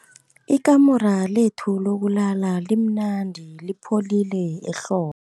Ikamuru lethu lokulala limnandi lipholile ehlo